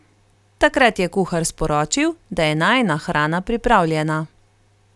Takrat je kuhar sporočil, da je najina hrana pripravljena.